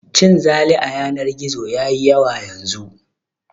Cin zali a yanar gizo ya yi yawa yanzu